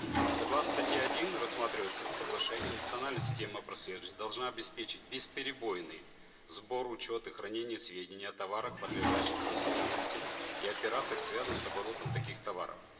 согласно статье один рассматриваемого соглашения национальная система прослеживания должна обеспечить бесперебойный сбор учет и хранение сведений о товарах подлежащих прослеживаемости и операциях связанных с оборотом таких товаров